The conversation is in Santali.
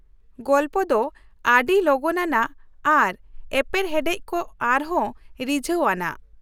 ᱜᱚᱞᱯᱚ ᱫᱚ ᱟᱹᱰᱤ ᱞᱚᱜᱚᱱ ᱟᱱᱟᱜ ᱟᱨ ᱮᱯᱮᱨᱦᱮᱰᱮᱡ ᱠᱚ ᱟᱨᱦᱚᱸ ᱨᱤᱡᱷᱟᱹᱣ ᱟᱱᱟᱜ ᱾